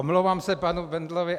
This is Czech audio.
Omlouvám se panu Bendlovi.